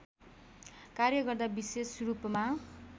कार्य गर्दा विशेषरूपमा